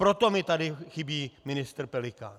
Proto mi tady chybí ministr Pelikán.